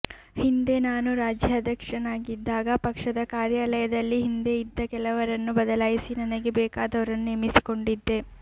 ಹಿಂದೆ ನಾನು ರಾಜ್ಯಾಧ್ಯಕ್ಷನಾಗಿದ್ದಾಗ ಪಕ್ಷದ ಕಾರ್ಯಾಲಯದಲ್ಲಿ ಹಿಂದೆ ಇದ್ದ ಕೆಲವರನ್ನು ಬದಲಾಯಿಸಿ ನನಗೆ ಬೇಕಾದವರನ್ನು ನೇಮಿಸಿಕೊಂಡಿದ್ದೆ